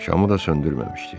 Şamı da söndürməmişdi.